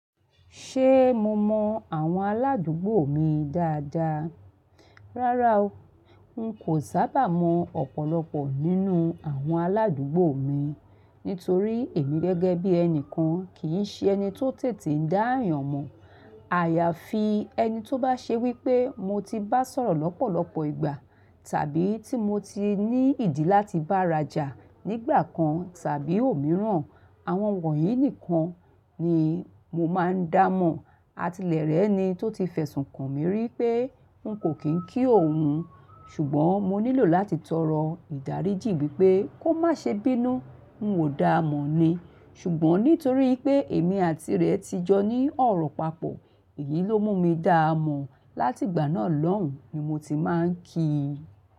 Ṣé mo mọ àwọn aládùúgbò mi dáadáa? Rárá o, n kò sábà mọ ọ̀pọ̀lọpọ̀ nínú àwọn aládùúgbò mi, nítorí èmi gẹ́gẹ́ bí ẹnìkan kì í ṣe ẹni tó tètè dá àyànmọ́. Àyàfi ẹni tó bá ṣe wípé mo ti bá sọ̀rọ̀ lọ́pọ̀lọpọ̀ ìgbà, tàbí tí mo ti ní ìdí láti bárajà nígbà kan tàbí òmíràn, àwọn wọ̀nyí nìkan ni mo máa ń dá mọ̀. Atilẹ̀rẹ́ ẹni tó ti fẹ̀sùn kàn mí rí pé n kò kí òun, ṣùgbọ́n mo nílò láti tọrọ ìdáríjì wí pé kó má ṣe bínú n ò dáa mọ̀ ni. Ṣùgbọ́n nítorí pé èmi àti rẹ̀ ti jọ ní ọ̀rọ̀ papọ̀, èyí ló mú mi dá mọ̀, láti ìgbà náà lọ́hùn ni mo ti máa ń kí i.